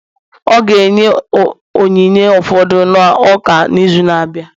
Ọ ga-enye onyinye ụfọdụ n'ụka n'izu na-abịa